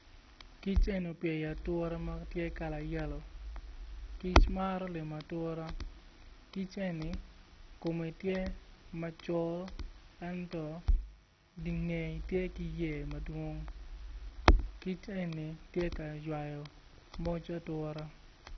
Kic eni opye i atura ma tye kala yelo kic maro limo atura kic eni kome tye macol ento dingeye tye ki yer madwong kic eni tye ka ywayo moc atura.